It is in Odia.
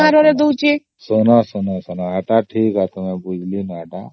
ଶୁଣ ଶୁଣ ଏଇଟା ଠିକ କଥା ଟା କହିଲ